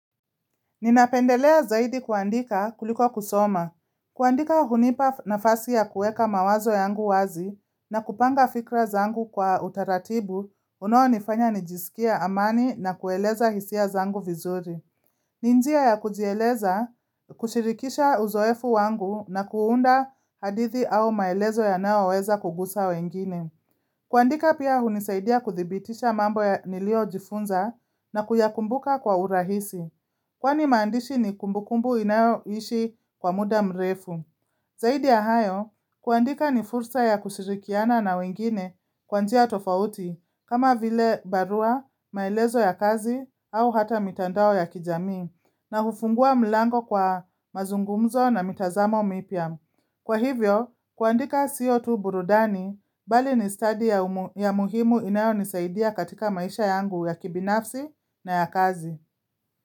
Ninapendelea zaidi kuandika kuliko kusoma. Kuandika hunipa nafasi ya kueka mawazo yangu wazi na kupanga fikra zangu kwa utaratibu unao nifanya nijiskie amani na kueleza hisia zangu vizuri. Ni njia ya kujieleza, kushirikisha uzoefu wangu na kuunda hadithi au maelezo yanayo weza kugusa wengine. Kuandika pia hunisaidia kuthibitisha mambo niliyo jifunza na kuyakumbuka kwa urahisi. Kwani maandishi ni kumbukumbu inayoishi kwa muda mrefu. Zaidi ya hayo, kuandika ni fursa ya kushirikiana na wengine kwa njia tofauti kama vile barua, maelezo ya kazi au hata mitandao ya kijamii na hufungua mlango kwa mazungumzo na mitazamo mipya. Kwa hivyo, kuandika sio tu burudani, bali ni stadi ya muhimu inayonisaidia katika maisha yangu ya kibinafsi na ya kazi.